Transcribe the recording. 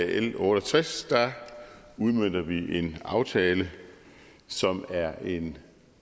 l otte og tres udmønter vi en aftale som er en